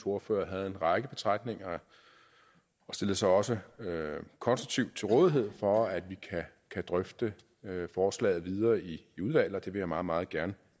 ordfører havde en række betragtninger og stillede sig også konstruktivt til rådighed for at vi kan drøfte forslaget videre i udvalget vil jeg meget meget gerne